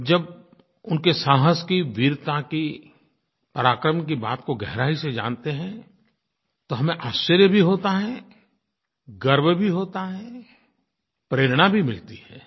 जब उनके साहस की वीरता की पराक्रम की बात को गहराई से जानते हैं तो हमें आश्चर्य भी होता है गर्व भी होता है प्रेरणा भी मिलती है